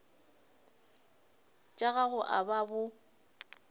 tša gago a ba bo